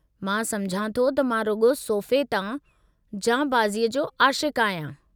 मां समुझां थो त मां रुॻो सोफ़े तां जांबाज़ीअ जो आशिक़ु आहियां!